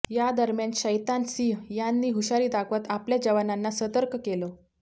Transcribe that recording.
यादरम्यान शैतान सिंह यांनी हुशारी दाखवत आपल्या जवानांना सतर्क केलं